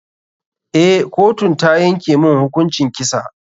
Eh, kotun ta yanke mun hukuncin kisa.